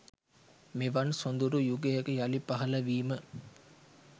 මෙවන් සොඳුරු යුගයක යළි පහළ වීම